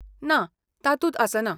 ना, तातूंत आसना.